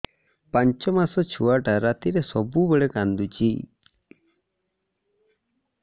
ପାଞ୍ଚ ମାସ ଛୁଆଟା ରାତିରେ ସବୁବେଳେ କାନ୍ଦୁଚି